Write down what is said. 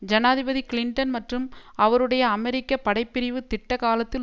ஜனாதிபதி கிளின்டன் மற்றும் அவருடைய அமெரிக்க படை பிரிவு திட்ட காலத்தில்